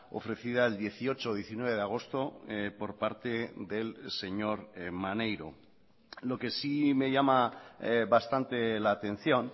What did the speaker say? ofrecida el dieciocho diecinueve de agosto por parte del señor maneiro lo que sí me llama bastante la atención